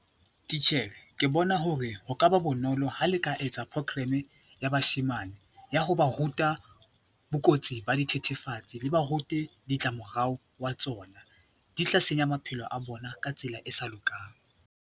Titjhere, ke bona hore ho ka ba bonolo ha le ka etsa program ya bashemane ya ho ba ruta bokotsi ba dithethefatsi, le ba rute ditlamorao wa tsona, di tla senya maphelo a bona ka tsela e sa lokang.